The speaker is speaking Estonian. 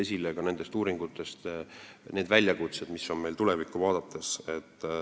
Siit ja ka nendest uuringutest tulevad esile need väljakutsed, mis meil on tulevikku vaadates.